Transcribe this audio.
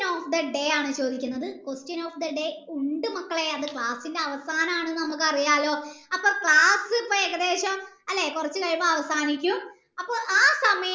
question of the day ആണ് ചോയ്ക്കുന്നത് question of the day ഉണ്ട് മക്കളെ അത് class ൻ്റെ അവസാനമാണെന് നമ്മക് അറിയാലോ അപ്പൊ class ഇപ്പൊ ഏകദേശം അല്ലെ കൊർച് കഴിയമ്പോ അവസാനിക്കും അപ്പൊ ആ സമയം കൊണ്ട്